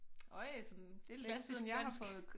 Øj sådan klassisk dansk